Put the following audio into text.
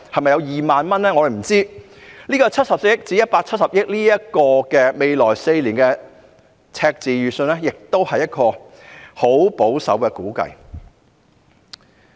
不過，未來4年由74億元至170億元的赤字預算只是十分保守的估計。